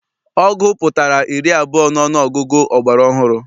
Ọgụ pụtara iri abụọ n'ọnụọgụgụ ọgbara ọhụrụ.